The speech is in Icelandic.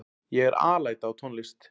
Ég er alæta á tónlist.